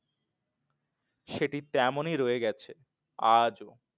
সেটি তেমনি রয়ে গেছে আজও